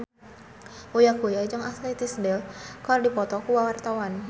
Uya Kuya jeung Ashley Tisdale keur dipoto ku wartawan